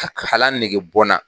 Ka kalan nege bɔ n na.